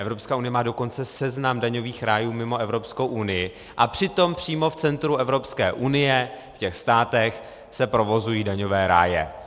Evropská unie má dokonce seznam daňových rájů mimo Evropskou unii, a přitom přímo v centru Evropské unie, v těch státech, se provozují daňové ráje.